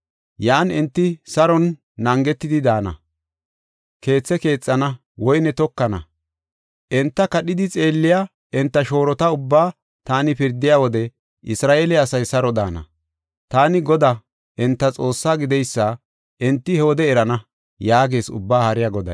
Yan enti saronne naagetidi daana; keethe keexana; woyne tokana. Enta kadhidi xeelliya enta shoorota ubbaa taani pirdiya wode Isra7eele asay saro daana. Taani Godaa enta Xoossaa gideysa enti he wode erana” yaagees Ubbaa Haariya Goday.